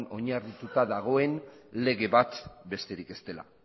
oinarrituta dagoen lege bat besterik ez dela